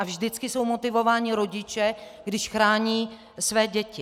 A vždycky jsou motivováni rodiče, když chrání své děti.